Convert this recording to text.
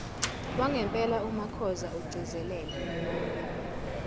wangempela umakhoza ugcizelela